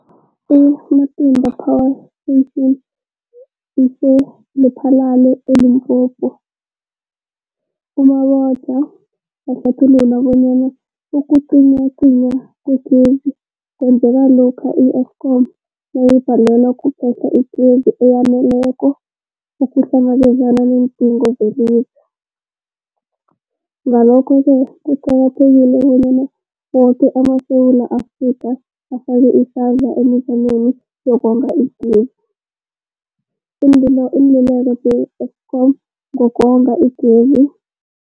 I-Matimba Power Station ise-Lephalale, eLimpopo. U-Mabotja wahlathulula bonyana ukucinywacinywa kwegezi kwenzeka lokha i-Eskom nayibhalelwa kuphe-hla igezi eyaneleko ukuhlangabezana neendingo zelizwe. Ngalokho-ke kuqakathekile bonyana woke amaSewula Afrika afake isandla emizameni yokonga igezi. Iinluleko ze-Eskom ngokonga igezi.